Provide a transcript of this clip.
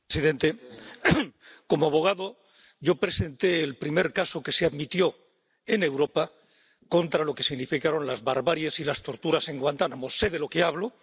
Señor presidente, como abogado yo presenté el primer caso que se admitió en Europa contra lo que significaron las barbaries y las torturas en Guantánamo sé de lo que hablo.